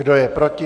Kdo je proti?